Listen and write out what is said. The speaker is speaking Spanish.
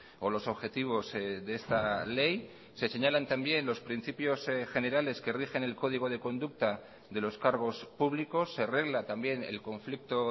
o los objetivos de esta ley se señalan también los principios generales que rigen el código de conducta de los cargos públicos se regla también el conflicto